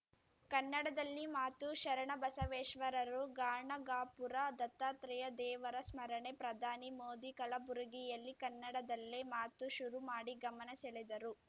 ಕನ್ನಡದಲ್ಲಿ ಮಾತು ಶರಣಬಸವೇಶ್ವರರು ಗಾಣಗಾಪುರ ದತ್ತಾತ್ರೇಯ ದೇವರ ಸ್ಮರಣೆ ಪ್ರಧಾನಿ ಮೋದಿ ಕಲಬುರಗಿಯಲ್ಲಿ ಕನ್ನಡದಲ್ಲೇ ಮಾತು ಶುರುಮಾಡಿ ಗಮನ ಸೆಳೆದರು